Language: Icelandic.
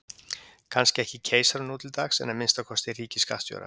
kannski ekki keisaranum nú til dags en að minnsta kosti ríkisskattstjóra